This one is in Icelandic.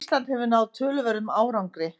Ísland hefur náð töluverðum árangri